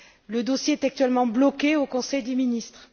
Le dossier est actuellement bloqué au Conseil des ministres.